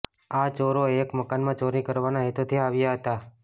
આ ચોરો એક મકાનમાં ચોરી કરવાના હેતુથી આવ્યા હતા